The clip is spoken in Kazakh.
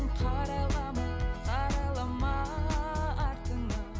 қарайлама қарайлама артыңа